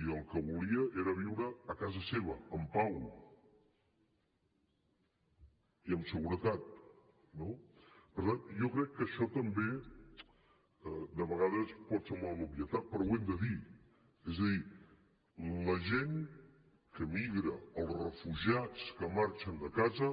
i el que volia era viure a casa seva en pau i amb seguretat no per tant jo crec que això també de vegades pot semblar una obvietat però ho hem de dir és a dir la gent que migra els refugiats que marxen de casa